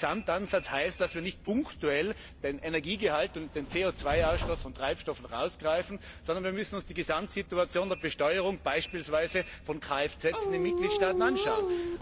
Und Gesamtansatz heißt, dass wir nicht punktuell den Energiegehalt und den CO 2 Ausstoß von Treibstoffen herausgreifen, sondern wir müssen uns die Gesamtsituation der Besteuerung beispielsweise von KFZ in den Mitgliedstaaten anschauen.